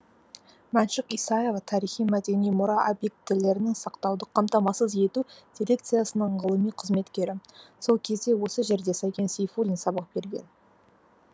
мәншүк исаева тарихи мәдени мұра объектілерін сақтауды қамтамасыз ету дирекциясының ғылыми қызметкері сол кезде осы жерде сәкен сейфуллин сабақ берген